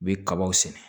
U bɛ kabaw sɛnɛ